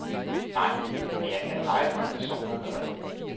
Nej, men jeg kan pege på en person, der gør det.